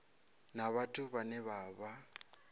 na vhathu vhane vha vha